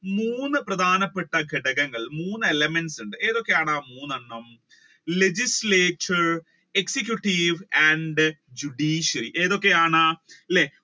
മൂന്ന് പ്രധാനപ്പെട്ട ഘടകങ്ങൾ മൂന്ന് elements ഏതൊക്കെയാണ് മൂന്നെണ്ണം legislation, executive and judiciary ഏതൊക്കെയാണ് അല്ലെ